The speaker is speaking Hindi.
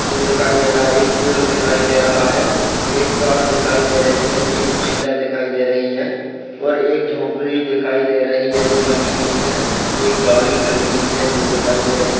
जो दिखाई दे रहा है। एक पेड़ दिखाई दे रहा है। एक कार दिखाई दे रही है। एक महिला दिखाई दे रही है और एक झोपड़ी दिखाई दे रही है जो बनी हुई है। एक गाड़ी खड़ी हुई है जो दिखाई दे रही।